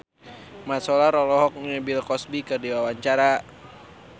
Mat Solar olohok ningali Bill Cosby keur diwawancara